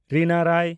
ᱨᱤᱱᱟ ᱨᱚᱭ